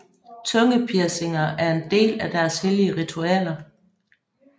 Tungepiercinger er en del af deres hellige ritualer